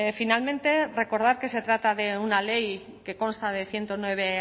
finalmente recordar que se trata de una ley que consta de ciento nueve